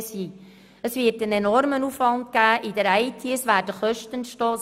Diese führen zu einem enormen Aufwand in der Informatik;